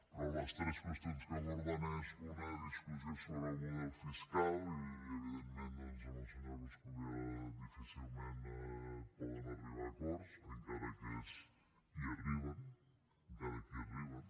però les tres qüestions que aborden és una discussió sobre el model fiscal i evidentment doncs amb el senyor coscubiela difícilment poden arribar a acords encara que hi arriben encara que hi arriben